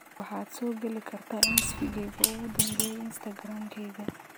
waxaad soo gali kartaa isfiigeyga ugu dambeeyay instagram-kayga